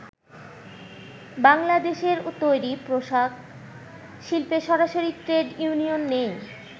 বাংলাদেশের তৈরি পোশাক শিল্পে সরাসরি ট্রেড ইউনিয়ন নেই।